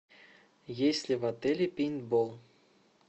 есть ли в отеле пейнтбол